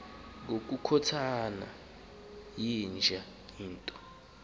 ngokukhothana yinja into